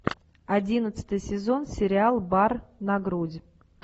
одиннадцатый сезон сериал бар на грудь